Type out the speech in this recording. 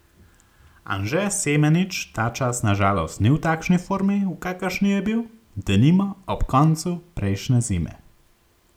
Anže Semenič ta čas na žalost ni v takšni formi, v kakršni je bil, denimo, ob koncu prejšnje zime.